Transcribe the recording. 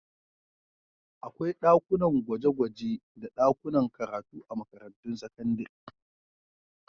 Akwai dakunan gwaje-gwaje da dakunan karatu a makarantun sakandare.